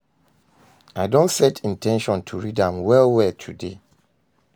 I don set in ten tion to read am well well today.